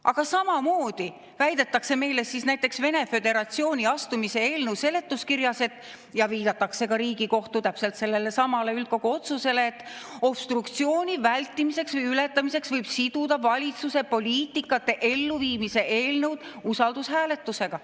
Aga samamoodi väidetakse meile näiteks Venemaa Föderatsiooni astumise eelnõu seletuskirjas ja viidatakse ka Riigikohtu täpselt sellelesamale üldkogu otsusele, et obstruktsiooni vältimiseks või ületamiseks võib siduda valitsuse poliitikate elluviimise eelnõud usaldushääletusega.